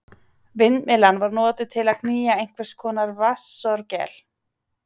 Vindmyllan var notuð til að knýja einhvers konar vatnsorgel.